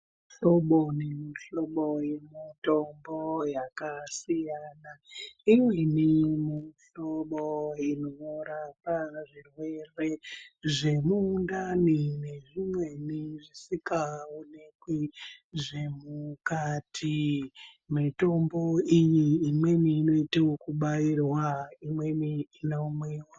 Mihlobo nemihlobo yemutombo yakasiyana. Imweni mihlobo inorapa zvirwere zvemundani nezvimweni zvisikaonekwi zvemukati. Mitombo iyi imweni inoite wokubairwa imweni inomwiwa.